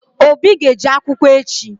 Obi ga-eje akwụkwọ echi.